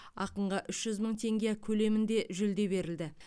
ақынға үш жүз мың теңге көлемінде жүлде берілді